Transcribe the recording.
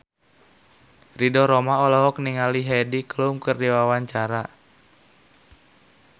Ridho Roma olohok ningali Heidi Klum keur diwawancara